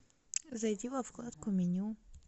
зайди во вкладку меню